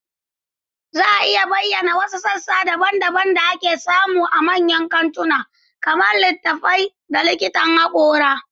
Za a iya bayyana wasu sassa daban-daban da ake samu a manyan kantuna, kamar littattafai da likitan hakora?